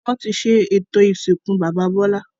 Wọn tí ṣe ètò ìsìnkú bàbá Bọlá